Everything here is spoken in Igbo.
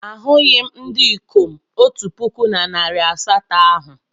Ahụghị m ndị ikom otu puku na narị asatọ ahụ.